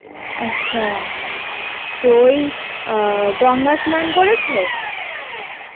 আচ্ছা তো ওই আহ গঙ্গা স্নান করেছো?